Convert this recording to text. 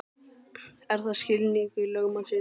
Er það skilningur lögmannsins?